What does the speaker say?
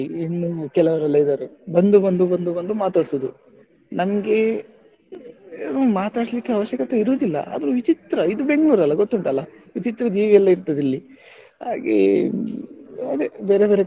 ಇನ್ನು ಕೆಲವ್ರೆಲ್ಲಾಇದ್ದಾರೆ ಬಂದು ಬಂದು ಬಂದು ಬಂದು ಮಾತಡ್ಸುದು ನನ್ಗೆ ಮಾತಾಡಿಸ್ಲಿಕ್ಕೆ ಅವಶ್ಯಕತೆಯೇ ಇರುವುದಿಲ್ಲ, ಆದ್ರೂ ವಿಚಿತ್ರ ಇದು ಬೆಂಗಳೂರಲ್ಲ ಗೊತ್ತುಂಟಲ್ಲಾ ವಿಚಿತ್ರ ಜೀವಿಯೆಲ್ಲ ಇರ್ತದೆ ಇಲ್ಲಿ, ಹಾಗೆ ಅದೇ ಬೇರೆ ಬೇರೆ ಕಡೆ,